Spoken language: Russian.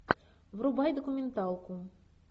врубай документалку